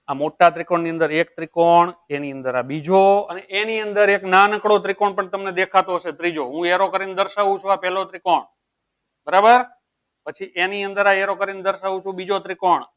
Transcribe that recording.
આ મોટા ત્રિકોણ નું અંદર એક ત્રિકોણ એની અંદર આ બીજો ત્રિકોણ અને એની અંદર એક નાનકડો ત્રિકોણ પણ તમને દેખાતું હશે ત્રીજો હું arrow કરી ને દર્શાવ છું આ પેહલો ત્રિકોણ બરાબર પછી એની અંદર આ arrow કરી ને દર્શાવ છું એ બીજો